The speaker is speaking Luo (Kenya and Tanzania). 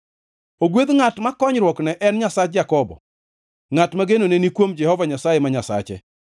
Ogwedh ngʼat ma konyruokne en Nyasach Jakobo, ngʼat ma genone ni kuom Jehova Nyasaye ma Nyasache.